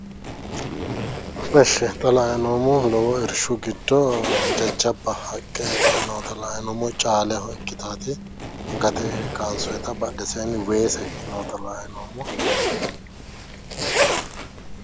Eshshi xa la"ayi noommohu lowo irshu giddo jajjabba haqqe noota la"ayi noommo caaleho ikkitaati gate kansoyiita badheseenni weese noota la"ayi noommo